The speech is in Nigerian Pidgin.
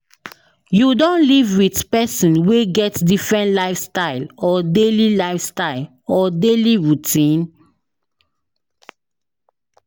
you don live with pesin wey get different lifestyle or daily lifestyle or daily routine?